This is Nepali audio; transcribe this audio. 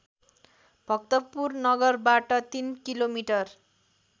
भक्तपुर नगरबाट ३ किलोमिटर